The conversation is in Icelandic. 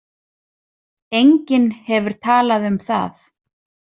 Enginn hefur talað um það.